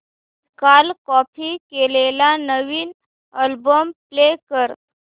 काल कॉपी केलेला नवीन अल्बम प्ले कर